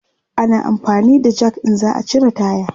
ana amfani da Jak in za'a cire taya